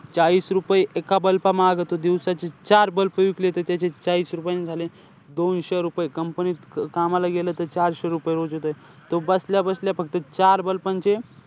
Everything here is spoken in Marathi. चाळीस रुपये तो एका bulb मागं तो दिवसाचे चार bulb विकले तर त्याचे चाळीस रुपयेने झाले दोनशे रुपये. Company त कामाला गेलं त चारशे रुपये रोज येतोय. तो बसल्या बसल्या फक्त चार bulb चे,